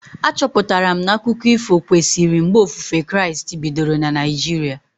A chọpụtara m na akụkọ ifo kwesịrị mgbe ofufe Kraịst bidoro na Naijiria